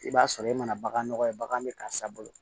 I b'a sɔrɔ e mana bagan nɔgɔ ye bagan bɛ karisa bolo